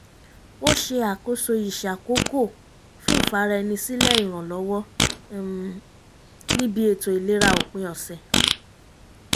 ó ṣe àkóso ìṣàkòókò fún ìfara ẹni sílẹ̀ ìrànlọ́wọ́ um níbi ètò ìlera òpin ọ̀sẹ̀